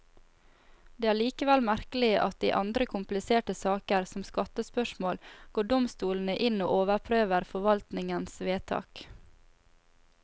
Det er likevel merkelig at i andre kompliserte saker, som skattespørsmål, går domstolene inn og overprøver forvaltningens vedtak.